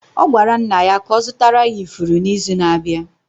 Ọ gwara nna ya ka ọ zụtara ya ifuru n’izu na-abịa